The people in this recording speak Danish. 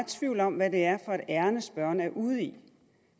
tvivl om hvad det er for et ærinde spørgeren er ude i